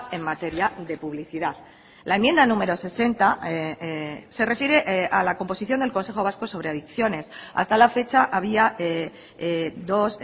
en materia de publicidad la enmienda número sesenta se refiere a la composición del consejo vasco sobre adicciones hasta la fecha había dos